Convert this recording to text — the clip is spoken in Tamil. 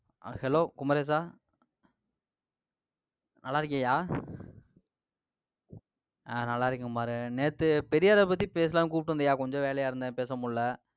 hello குமரேசா நல்லா இருக்கியா? அஹ் நல்லா இருக்கேன் பாரு. நேத்து பெரியாரை பத்தி பேசலாம்னு கூப்பிட்டு இருந்தியா, கொஞ்சம் வேலையா இருந்தேன், பேச முடியலை